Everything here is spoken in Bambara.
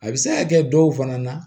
A bɛ se ka kɛ dɔw fana na